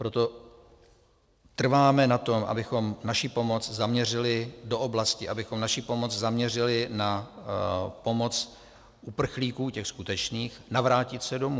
Proto trváme na tom, abychom naši pomoc zaměřili do oblasti, abychom naši pomoc zaměřili na pomoc uprchlíkům, těm skutečným, navrátit se domů.